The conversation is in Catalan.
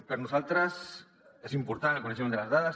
per a nosaltres és important el coneixement de les dades